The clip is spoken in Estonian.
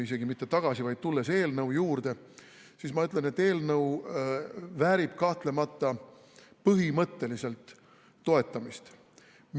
Isegi mitte tulles tagasi, vaid tulles eelnõu juurde, siis ma ütlen, et eelnõu väärib kahtlemata põhimõtteliselt toetamist.